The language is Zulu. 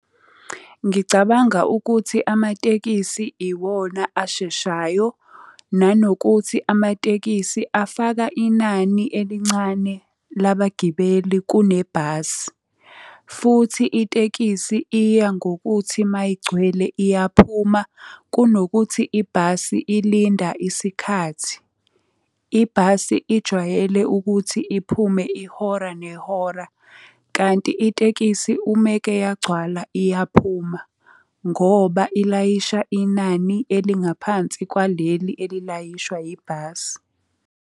Ngicabanga ukuthi amatekisi iwona asheshayo, nanokuthi amatekisthi afaka inani elincane labagibeli kunebhasi. Futhi itekisi iya ngokuthi mayigcwele iyaphuma, kunokuthi ibhasi ilinda isikhathi. Ibhasi ijwayele ukuthi iphume ihora nehora, kanti itekisi umeke yagcwala iyaphuma ngoba ilayisha inani elingaphansi kwaleli elilayishwa yibhasi.